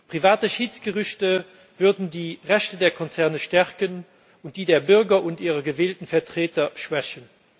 Private Schiedsgerichte würden die Rechte der Konzerne stärken und die der Bürger und ihrer gewählten Vertreter schwächen.